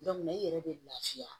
i yɛrɛ bɛ lafiya